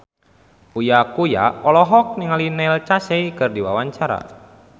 Uya Kuya olohok ningali Neil Casey keur diwawancara